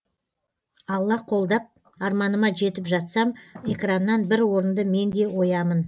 алла қолдап арманыма жетіп жатсам экраннан бір орынды менде оямын